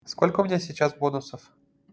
сколько у меня сейчас бонусов